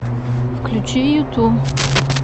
включи юту